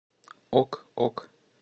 ок ок